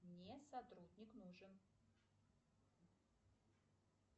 мне сотрудник нужен